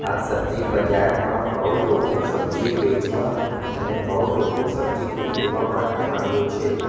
આ સબ્જી બજારમાં બઉ લોકો સબ્જી વેચવા અને બઉ લોકો સબ્જી ખરીદવા માટે આવ્યો છે.